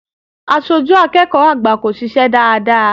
Aṣojú akẹ́kọ̀ọ́ àgbà kò ṣiṣẹ́ dáadáa.